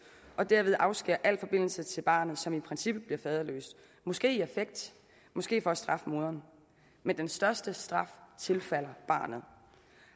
og derved afskære alle forbindelser til barnet som i princippet bliver faderløst måske i affekt måske for at straffe moren men den største straf tilfalder barnet